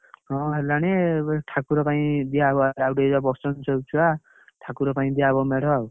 ହଁ ହେଲାଣି ଏ ଠାକୁର ପାଇଁ ଦିଆ ହବ ଆଉ ଟିକେ ଗଲେ ବସୁଛନ୍ତି ସବୁ ଛୁଆ, ଠାକୁର ପାଇଁ ଦିଆ ହବ ମେଢ ଆଉ।